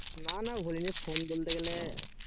না না ভুলিনি phone বলতে গেলে